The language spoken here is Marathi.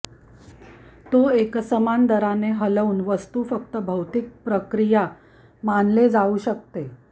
तो एकसमान दराने हलवून वस्तू फक्त भौतिक प्रक्रिया मानले जाऊ शकते